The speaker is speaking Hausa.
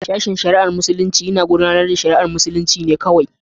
Sashen shari'ar Muslunci yana tafiyar da al'amuran musulunci kawai.